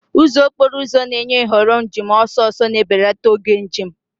Ụzọ okporo ụzọ na-enye nhọrọ njem ọsọ ọsọ, na-ebelata oge njem.